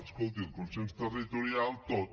escolti el consens territorial tot